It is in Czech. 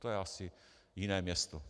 To je asi jiné město.